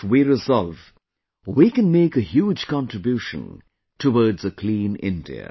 If we resolve, we can make a huge contribution towards a clean India